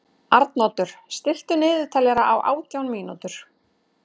Arnoddur, stilltu niðurteljara á átján mínútur.